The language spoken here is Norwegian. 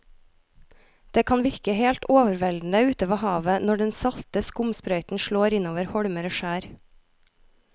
Det kan virke helt overveldende ute ved havet når den salte skumsprøyten slår innover holmer og skjær.